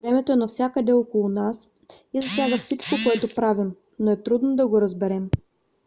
времето е навсякъде около нас и засяга всичко което правим но е трудно да го разберем